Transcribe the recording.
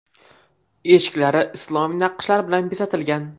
Eshiklari islomiy naqshlar bilan bezatilgan.